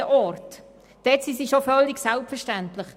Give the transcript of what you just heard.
Dort sind sie schon völlig selbstverständlich.